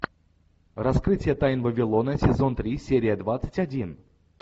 раскрытие тайн вавилона сезон три серия двадцать один